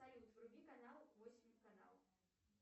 салют вруби канал восемь канал